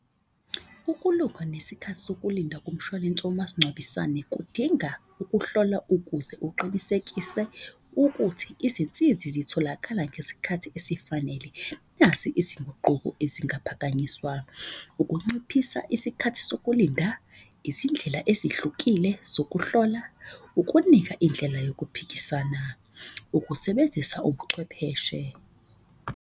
Ukulunga nesikhathi sokulinda komshwalense womasingcwabisane kudinga ukuhlola ukuze uqinisekise ukuthi izinsizi zitholakala ngesikhathi esifanele. Nasi isinguquko ezingaphakanyiswa, ukunciphisa isikhathi sokulinda, izindlela ezihlukile zokuhlola. Ukunika indlela yokuphikisana, ukusebenzisa ubuchwepheshe.